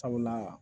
Sabula